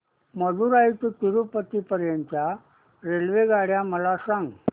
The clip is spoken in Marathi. मदुरई ते तिरूपती पर्यंत च्या रेल्वेगाड्या मला सांगा